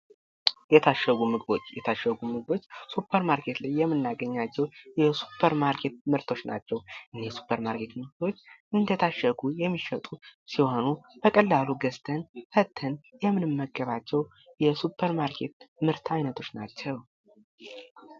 የታሸጉ ምግቦች የታሸጉ ምግቦች፦ ሱፐር ማርኬት ላይ የምናገኛቸው የሱፐር ማርኬት ምርቶች ናቸው። እኒህ የሱፐር ማርኬት ምርቶች እንደታሸጉ የሚሸጡ ሲሆኑ በቀላሉ ገዝተን ፈተን የምንመገባቸው የሱፐር ማርኬት ምርት አይነቶች ናቸው።